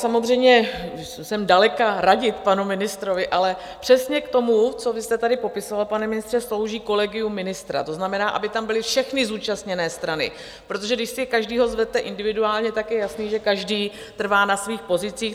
Samozřejmě jsem daleka radit panu ministrovi, ale přesně k tomu, co vy jste tady popisoval, pane ministře, slouží kolegium ministra, to znamená, aby tam byly všechny zúčastněné strany, protože když si každého zvete individuálně, tak je jasné, že každý trvá na svých pozicích.